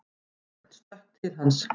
Örn stökk til hans.